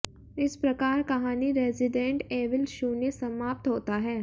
इस प्रकार कहानी रेसिडेंट एविल शून्य समाप्त होता है